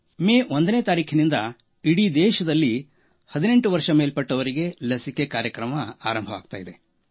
ಮೇ 1ರಿಂದ ಇಡೀ ದೇಶದಲ್ಲಿ 18 ವರ್ಷ ಮೇಲ್ಪಟ್ಟವರಿಗೆ ಲಸಿಕೆ ಕಾರ್ಯಕ್ರಮ ಆರಂಭವಾಗುತ್ತಿದೆ